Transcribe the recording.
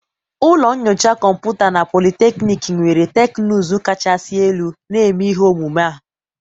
ụlọ nyocha kọmputa na polytechnic nwere teknụzụ kachasị elu, na-eme ihe omume a